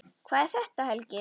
Hvað er þetta, Helgi?